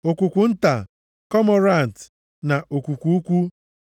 okwukwu nta, komorant na okwukwu ukwu,